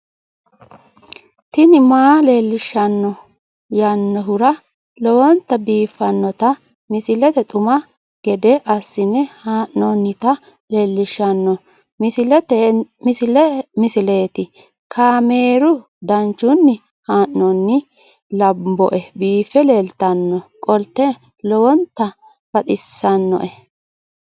tini maa leelishshanno yaannohura lowonta biiffanota misile xuma gede assine haa'noonnita leellishshanno misileeti kaameru danchunni haa'noonni lamboe biiffe leeeltannoqolten lowonta baxissannoe